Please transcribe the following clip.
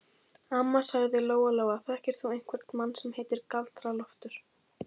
Amma, sagði Lóa Lóa, þekkir þú einhvern mann sem heitir Galdra-Loftur?